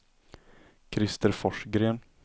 Krister Forsgren